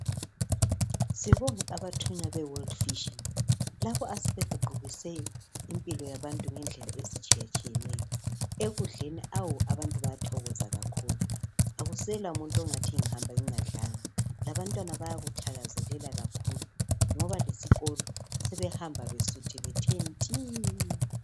Sibonge abathunywa be world vision labo asebeguqukise impilo yabantu ngedlela ezitshiyetshiyeneyo ekudleni awu abantu bayathokoza kakhulu akusela umuntu ongathi ngihamba ngingadlanga labantwana bayakuthakazelela kakhulu ngoba lesikolo sebehamba besuthi bethe nti